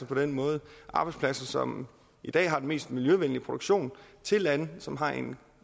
på den måde arbejdspladser som i dag har den mest miljøvenlige produktion til lande som har en